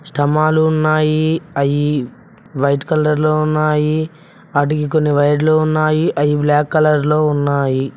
స్తంబాలు ఉన్నాయి అవి వైట్ కలర్లో ఉన్నాయి వాటికి కొన్ని వైర్లు ఉన్నాయి అవి బ్లాక్ కలర్ లో ఉన్నాయి.